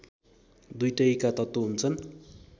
दुईटैका तत्त्व हुन्छन्